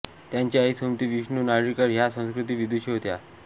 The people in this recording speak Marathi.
त्यांची आई सुमती विष्णू नारळीकर ह्या संस्कृत विदुषी होत्या